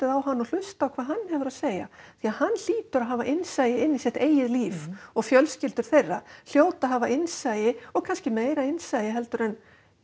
á hann og hlusta á hvað hann hefur að segja því hann hlýtur að hafa innsæi inn í sitt eigið líf og fjölskyldur þeirra hljóta að hafa innsæi og kannski meira innsæi en